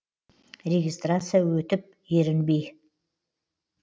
регистрация өтіп ерінбей